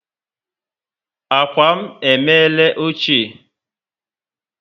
Ákwà m emere ochie